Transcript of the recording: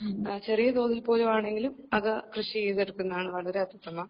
ചെറിയ തോതിൽ പോലും ആണെങ്കിലും അത് കൃഷിചെയ്തെടുക്കുന്നതാണ് വളരെ അത്യുത്തമം